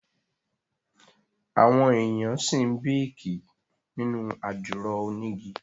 Àwọn èèyàn ṣì ń béèkì nínú àdìro onígi